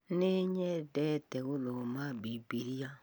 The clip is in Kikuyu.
Nĩ nyendete gũthoma Bibilia